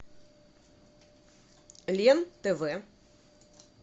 лен тв